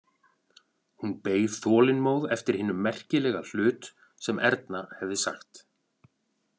Hún beið þolinmóð eftir hinum merkilega hlut sem Erna hefði sagt.